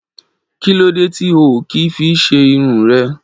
Kí lódé tí o ò kì í fi ṣe irun rẹ?